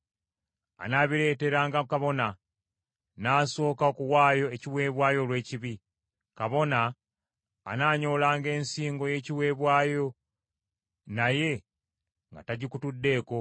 Anaabireeteranga kabona, n’asooka okuwaayo ekiweebwayo olw’ekibi. Kabona anaanyoolanga ensingo y’ekiweebwayo, naye nga tagikutuddeeko;